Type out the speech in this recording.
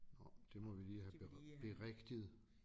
Nåh det må vi lige have berigtiget